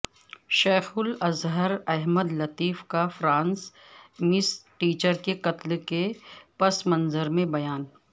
شیخ الازہر احمدالطیب کا فرانس میںٹیچر کے قتل کے پس منظر میں بیان